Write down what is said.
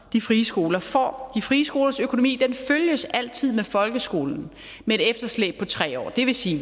de frie skoler får de frie skolers økonomi følges altid med folkeskolens med et efterslæb på tre år det vil sige